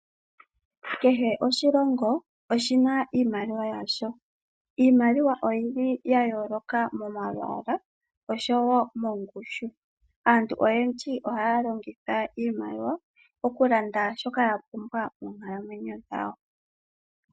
Kehe oshilongo oshina iimaliwa yasho. Iimaliwa oyili ya yooloka mo malwaala osho wo mongushu. Aantu oyendiji ohaya longitha iimaliwa okulanda shoka ya pumbwa moonkalamwenyo dhawo.